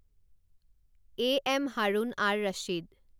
A M Harun ar Rashid